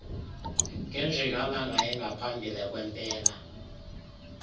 ngenjikalanga engaphambi kwempela